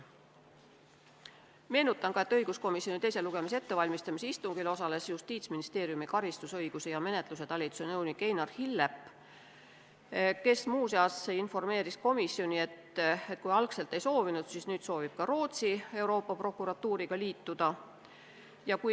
Meenutan ka, et õiguskomisjoni istungil, kus valmistati eelnõu ette teiseks lugemiseks, osales Justiitsministeeriumi karistusõiguse ja menetluse talituse nõunik Einar Hillep, kes muu seas informeeris komisjoni, et kui algselt ei soovinud, siis nüüd soovib ka Rootsi Euroopa Prokuratuuriga liituda.